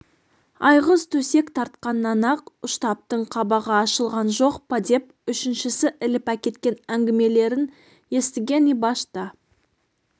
айғыз төсек тартқаннан-ақ ұштаптың қабағы ашылған жоқ па деп үшіншісі іліп әкеткен әңгімелерін естіген ибаш та